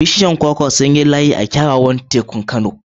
Bishiyoyin kwakwa sun yi layi da kyawawan gabar tekun Kano.